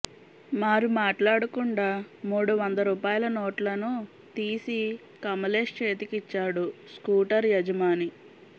మారు మాట్లాడకుండా మూడు వంద రూపాయల నోట్లను తీసి కమలేష్ చేతికిచ్చాడు స్కూటర్ యజమాని